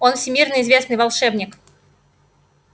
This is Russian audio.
он всемирно известный волшебник